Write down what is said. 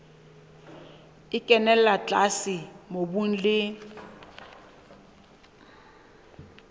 e kenella tlase mobung le